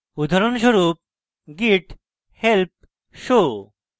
উদাহরণস্বরূপ: git help show